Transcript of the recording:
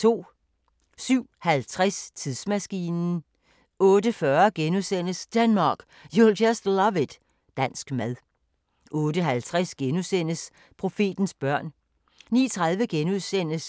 07:50: Tidsmaskinen 08:40: Denmark, you'll just love it – dansk mad * 08:50: Profetens børn * 09:30: